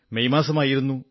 May മാസമായിരുന്നു